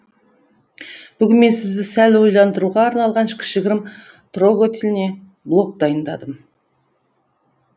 бүгін мен сізді сәл ойландыруға арналған кішігірім трогательный блог дайындадым